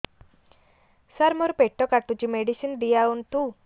ସାର ମୋର ପେଟ କାଟୁଚି ମେଡିସିନ ଦିଆଉନ୍ତୁ